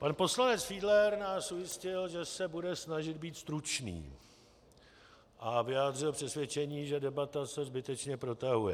Pan poslanec Fiedler nás ujistil, že se bude snažit být stručný, a vyjádřil přesvědčení, že debata se zbytečně protahuje.